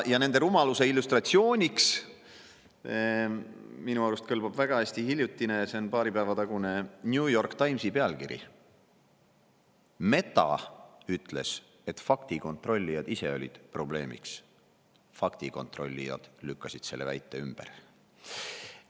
Ja nende rumaluse illustratsiooniks minu arust kõlbab väga hästi hiljutine, paari päeva tagune New York Timesi pealkiri selle kohta, et Meta ütles, et faktikontrollijad ise olid probleemiks, faktikontrollijad lükkasid selle väite ümber.